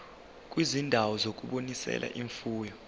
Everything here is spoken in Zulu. kwizindawo zokunonisela imfuyo